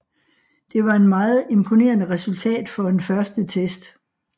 Det var en meget imponerende resultat for en første test